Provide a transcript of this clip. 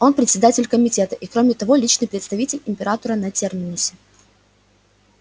он председатель комитета и кроме того личный представитель императора на терминусе